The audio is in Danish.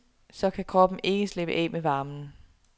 Så kan kroppen ikke slippe af med varmen.